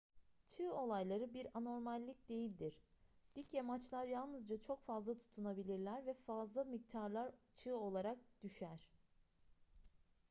çığ olayları bir anormallik değildir dik yamaçlar yalnızca çok yavaş tutunabilirler ve fazla miktarlar çığ olarak düşer